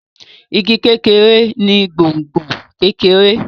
Ìgi kékeré ni gbòngbò kekere.